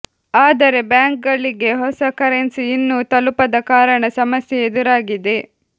ಆದರೆ ಬ್ಯಾಂಕ್ ಗಳಿಗೆ ಹೊಸ ಕರೆನ್ಸಿ ಇನ್ನೂ ತಲುಪದ ಕಾರಣ ಸಮಸ್ಯೆ ಎದುರಾಗಿದೆ